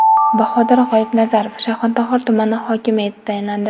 Bahodir G‘oyibnazarov Shayxontohur tumani hokimi etib tayinlandi.